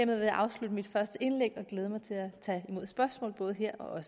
vil jeg afslutte mit første indlæg og glæde mig til at tage imod spørgsmål både her og